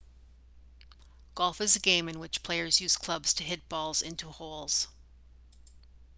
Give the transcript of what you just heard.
golf is a game in which players use clubs to hit balls into holes